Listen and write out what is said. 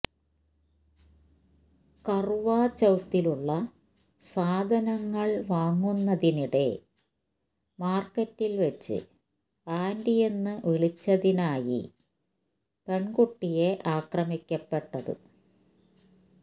കർവ്വാചൌത്തിനുള്ള സാധനങ്ങൾ വാങ്ങുന്നതിനിടെ മാർക്കറ്റിൽ വച്ച് ആന്റിയെന്ന് വിളിച്ചതിനായി പെൺകുട്ടിയെ ആക്രമിക്കപ്പെട്ടത